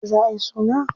Yauce za a yi suna?